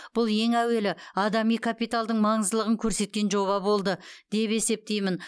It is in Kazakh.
бұл ең әуелі адами капиталдың маңыздылығын көрсеткен жоба болды деп есептеймін